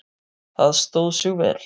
Það stóð sig vel.